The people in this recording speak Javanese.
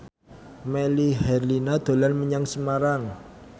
Melly Herlina dolan menyang Semarang